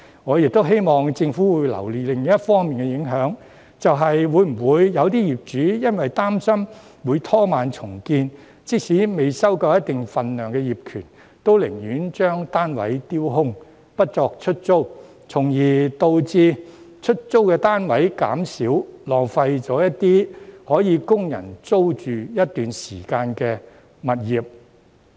我亦希望政府會留意另一方面的影響，就是會否有些業主由於擔心會拖慢重建，即使未收夠一定份數的業權，都寧願把單位丟空，不作出租，從而導致出租單位減少，浪費了一些可供人租住一段時間的物業。